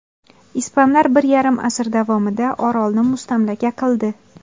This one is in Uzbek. Ispanlar bir yarim asr davomida orolni mustamlaka qildi.